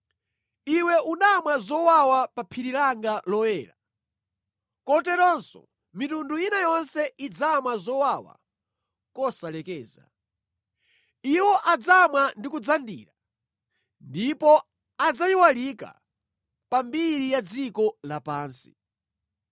Iwe unamwa pa phiri langa loyera, koteronso mitundu ina yonse idzamwa kosalekeza; iwo adzamwa ndi kudzandira ndipo adzayiwalika pa mbiri ya dziko lapansi.